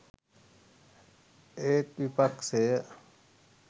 ඒත් විපක්ෂය